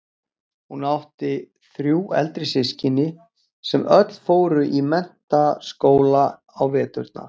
Hún átti þrjú eldri systkini sem öll fóru í Mennta- skóla á veturna.